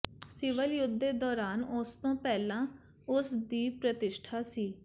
civil ਯੁੱਧ ਦੇ ਦੌਰਾਨ ਉਸ ਤੋਂ ਪਹਿਲਾਂ ਉਸ ਦੀ ਪ੍ਰਤਿਸ਼ਠਾ ਸੀ